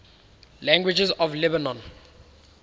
languages of lebanon